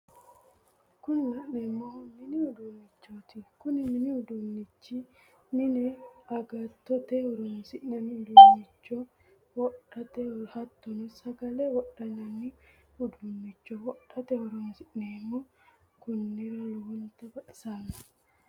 Kuni la'neemmohu mini uduunnichooti Kuni mini uduunnichi mine agattote horonsi'nanni uduuncho wodhate hattono sagale wodhineemmi uduunnicho wodhate horonsi'neemmo konnira lowontta baxxissanno